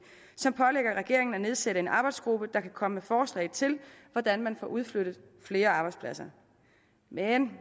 som pålægger regeringen at nedsætte en arbejdsgruppe der kan komme med forslag til hvordan man får udflyttet flere arbejdspladser men